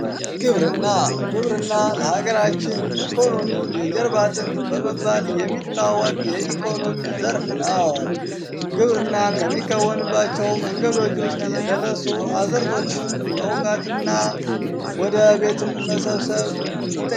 ግብርና ግብርና ለሀገራችን ኢኮኖሚ የጀርባ አጥንት በመባል የሚታወቅ የኢኮኖሚ ዘርፍ ነው። ግብርና ከሚከወንባቸው ነገሮች ውስጥ የደረሱ አእዝርቶችን መውቃትና ወደ ቤትም መሰብስብ ይጠይቃል።